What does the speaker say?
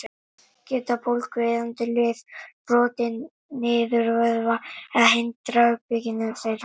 Geta bólgueyðandi lyf brotið niður vöðva eða hindrað uppbyggingu þeirra?